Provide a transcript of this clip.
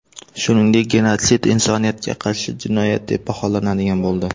Shuningdek, genotsid insoniyatga qarshi jinoyat deb baholanadigan bo‘ldi.